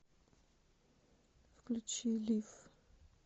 включи лив